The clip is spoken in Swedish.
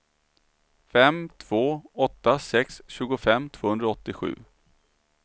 fem två åtta sex tjugofem tvåhundraåttiosju